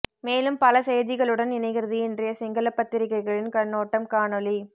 மேலும் பல செய்திகளுடன் இணைகிறது இன்றைய சிங்கள பத்திரிகைகளின் கண்ணோட்டம் காணொலி